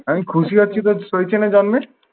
আমি খুশি হয়েছি তোর সইছে না জানলে।